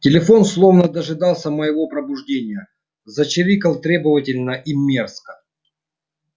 телефон словно дожидался моего пробуждения зачирикал требовательно и мерзко